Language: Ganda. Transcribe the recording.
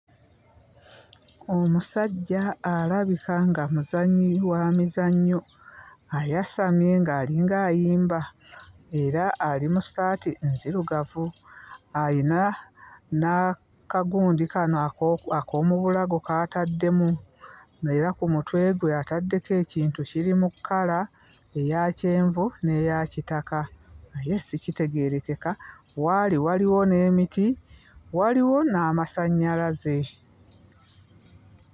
Omusajja alabika nga muzannyi wa mizannyo. Ayasamye ng'alinga ayimba era ali mu ssaati nzirugavu. Ayina n'akagundi kano ak'omu bulago k'ataddemu era ku mutwe gwe ataddeko ekintu kiri mu kkala eya kyenvu n'eya kitaka naye sikitegeerekeka. Waali waliwo n'emiti, waliwo n'amasannyalaze.